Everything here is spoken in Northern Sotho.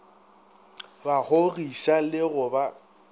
ba kgogiša le go ba